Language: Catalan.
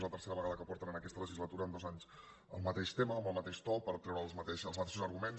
és la tercera vegada que porten en aquesta legislatura en dos anys el mateix tema amb el mateix to per treure els mateixos arguments